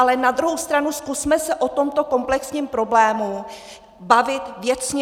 Ale na druhou stranu zkusme se o tomto komplexním problému bavit věcně.